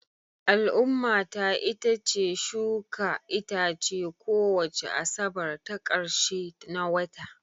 Al'ummata itace shuka itace kowace Asabar ta ƙarshe na wata